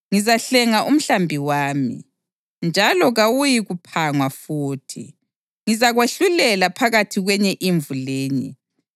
Ngizahlenga umhlambi wami, njalo kawuyikuphangwa futhi. Ngizakwahlulela phakathi kwenye imvu lenye.